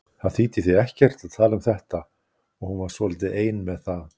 Það þýddi því ekkert að tala um þetta og hún var svolítið ein með það.